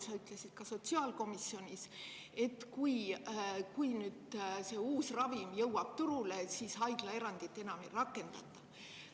Sa ütlesid ka sotsiaalkomisjonis, et kui nüüd see uus ravim jõuab turule, siis haiglaerandit enam ei rakendata.